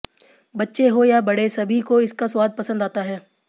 बच्चे हो या बड़े सभी को इसका स्वाद पसंद आता है